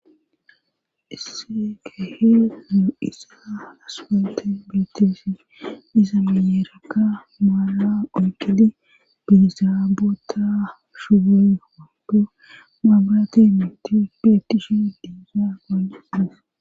isse kehi nu isa aswate beetesi iza miyeeraka maala oyqidi biizaabota shugoy mando maabrate miti beetishi diisa gani des